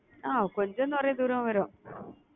அஹ் கொஞ்சம் நிறைய தூரம் வரும்